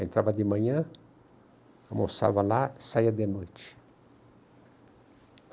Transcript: Entrava de manhã, almoçava lá e saía de noite.